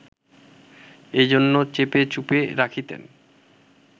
এজন্য চেপে চুপে রাখিতেন